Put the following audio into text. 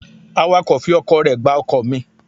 Awàkọ̀ fi ọkọ̀ rẹ gbá ọkọ̀ mi.